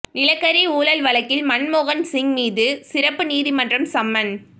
நிலக்கரி ஊழல் வழக்கில் மன்மோகன் சிங் மீது சிறப்பு நீதிமன்றம் சம்மன்